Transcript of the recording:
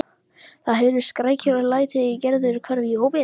Það heyrðust skrækir og læti og Gerður hvarf í hópinn.